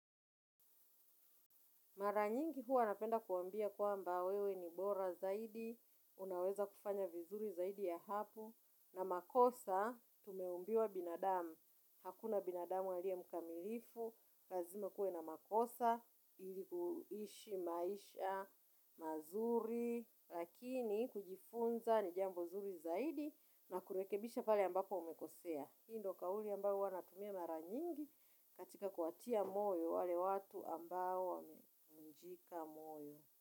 Mara nyingi huwa napenda kuwambia kwamba wewe ni bora zaidi, unaweza kufanya vizuri zaidi ya hapo, na makosa tumeumbiwa binadamu, hakuna binadamu aliye mukamilifu, lazima kuwe na makosa, ili kuishi maisha, mazuri, lakini kujifunza ni jambo zuri zaidi na kurekebisha pale ambapo umekosea. Hii ndio kauli ambao huwa natumia mara nyingi katika kuwatia moyo wale watu ambao wamevunjika moyo.